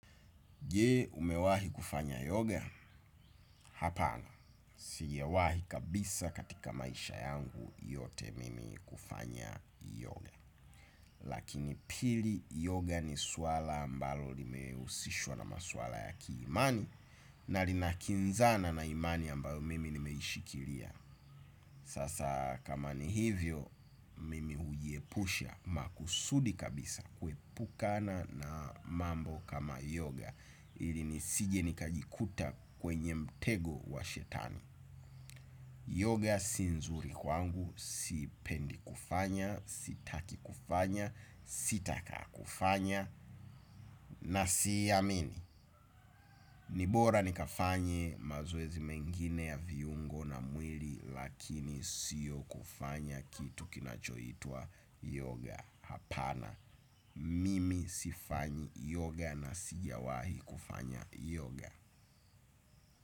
Je umewahi kufanya yoga? Hapana. Sijawahi kabisa katika maisha yangu yote mimi kufanya yoga. Lakini pili yoga ni suala ambalo limehusishwa na maswala ya kiimani na linakinzana na imani ambayo mimi nimeishikilia. Sasa kama ni hivyo mimi hujiepusha makusudi kabisa kuepukana na mambo kama yoga ili nisije nikajikuta kwenye mtego wa shetani. Yoga si nzuri kwangu sipendi kufanya, sitaki kufanya, sitaka kufanya na siiamini. Ni bora nikafanye mazoezi mengine ya viungo na mwili lakini sio kufanya kitu kinachoitwa yoga hapana. Mimi sifanyi yoga na sijawahi kufanya yoga.